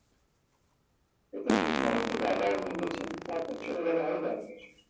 এটা fifty-nine থেকে আবার উনি বলছেন তারপর চলে গেল হালবার্গে